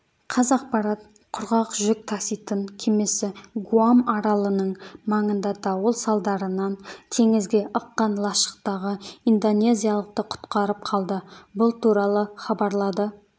қазақпарат құрғақ жүк таситын кемесі гуам аралының маңында дауыл салдарынан теңізге ыққан лашықтағы индонезиялықты құтқарып қалды бұл туралы хабарлады